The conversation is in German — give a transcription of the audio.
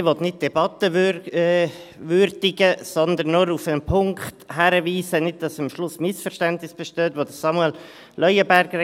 Ich will nicht die Debatte würdigen, sondern nur auf einen Punkt hinweisen, den Samuel Leuenberger gesagt hat, damit am Schluss keine Missverständnisse bestehen.